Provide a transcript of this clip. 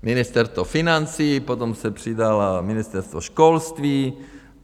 Ministerstvo financí, potom se přidalo Ministerstvo školství.